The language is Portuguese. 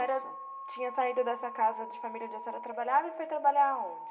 A senhora tinha saído dessa casa de família onde a senhora trabalhava e foi trabalhar aonde?